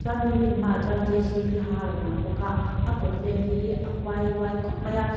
chuan building hmaah chuan j c b ha a rawh lang bawk ah a kawt vel hi a phuailuai khawp mai a.